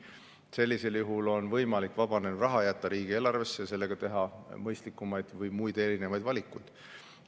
Sellisel juhul on võimalik jätta vabanev raha riigieelarvesse ja sellega teha muid ja mõistlikumaid valikuid.